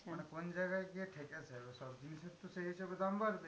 মানে কোন জায়গায় গিয়ে ঠেকেছে সব জিনিসের, তো সেই হিসেবে দাম বাড়বেই।